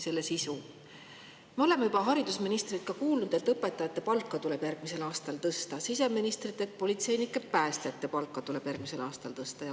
Me oleme juba kuulnud haridusministrilt, et õpetajate palka tuleb järgmisel aastal tõsta, siseministrilt oleme kuulnud, et politseinike ja päästjate palka tuleb järgmisel aastal tõsta.